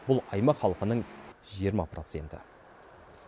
бұл аймақ халқының жиырма проценті